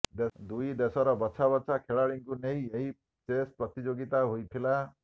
ଦୁଇ ଦେଶର ବଛାବଛା ଖେଳାଳିଙ୍କୁ ନେଇ ଏହି ଚେସ ପ୍ରତିଯୋଗିତା ହୋଇଥିଲା